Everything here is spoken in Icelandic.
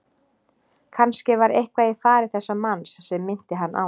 Kannske var eitthvað í fari þessa manns sem minnti hann á